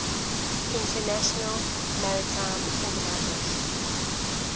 international maritime organization